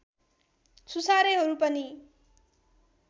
सुसारेहरू पनि